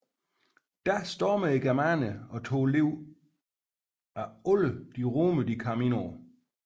Da stormede germanerne og tog livet af alle de romere de kom ind på